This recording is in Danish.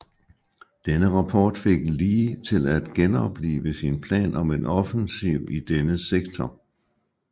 Denne rapport fik Lee til at genoplive sin plan om en offensiv i denne sektor